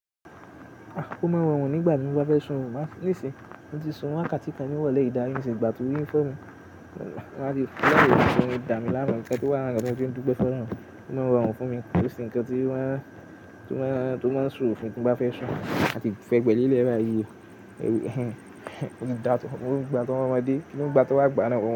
Ó máa ń rọrùn nígbà tí mo bá fẹ́ sùn, àmọ́, ní ìsín mo ti sùn oorun wákàtí kan ní ìrọ̀lẹ́ yìí dari ní ìsin yìí nígbà tí orí ń fọ́ mi. Láàrin ọjọ́ yìí, da mi lára ẹ̀, ǹkan tí wà ní katiko tí ó ń dúpẹ́ fún ọlọ́run. Ó mọ ń rọrùn fún mi, kò kì ṣe ǹkan tí ó má ń ṣòro fún mi tí mo bá fẹ́ sùn àti fẹ́ gbẹ lé ilé báyí. O ju da to, nígbà ti wọn ọmọdé, ki ni nígbà ti wa gba na ọwọn?